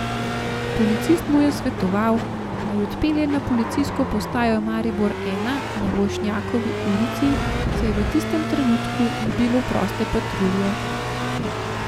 Policist mu je svetoval, naj odpelje na policijsko postajo Maribor I na Vošnjakovi ulici, saj v tistem trenutku ni bilo proste patrulje.